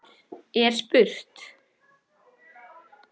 er spurt.